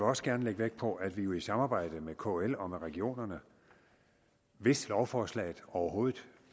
også gerne lægge vægt på at vi jo i samarbejde med kl og med regionerne hvis lovforslaget overhovedet